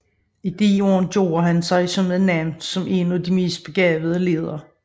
I disse år gjorde han sig et navn som en af de mest begavede ledere